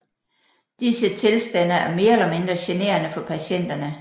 Disse tilstande er mere eller mindre generende for patienterne